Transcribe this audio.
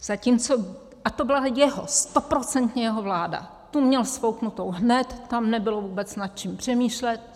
Zatímco - a to byla jeho, stoprocentně jeho vláda, tu měl sfouknutou hned, tam nebylo vůbec nad čím přemýšlet.